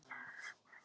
Þín vinkona Guðrún.